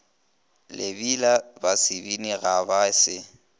lebila basebini ga ba se